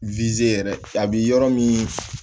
yɛrɛ a bi yɔrɔ min